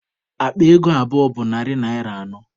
Akpa ego abụọ bụ narị naịra anọ.